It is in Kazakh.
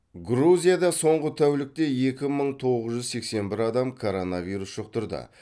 грузияда соңғы тәулікте екі мың тоғыз жүз сексен бір адам коронавирус жұқтырды